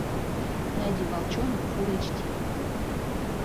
найди волчонок фулл эйч ди